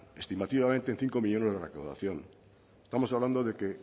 estimativamente en cinco millónes la recaudación estamos hablando de que